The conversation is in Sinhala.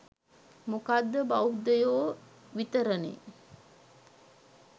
මොකද බෞද්ධයො විතරනේ